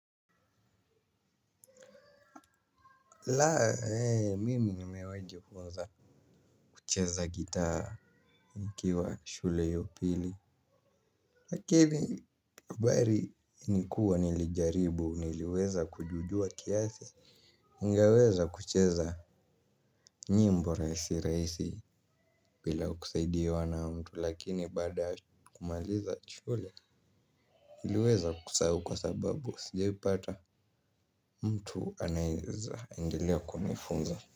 La eeh mimi nimewahi jifunza kucheza gitaa nikiwa shule ya upili. Lakini habari nikuwa nilijaribu, niliweza kujua kiasi. Ningeweza kucheza nyimbo rahisi rahisi bila kusaidiwa na mtu lakini baada ya kumaliza shule. Niliweza kusahau kwa sababu sijaipata mtu anaeza endelea kunifunza.